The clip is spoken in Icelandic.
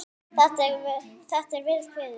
Þetta er vel kveðið.